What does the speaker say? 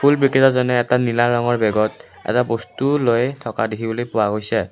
ফুল বিক্ৰেতাজনে এটা নীলা ৰঙৰ বেগত এটা বস্তু লৈ থকা দেখিবলৈ পোৱা গৈছে।